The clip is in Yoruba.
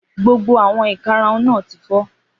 Gbogbo àwọn ìkarahun náà ti fọ́.